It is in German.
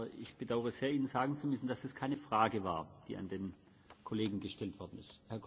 Aber ich bedaure sehr, Ihnen sagen zu müssen, dass es keine Frage war, die an den Kollegen gestellt worden ist.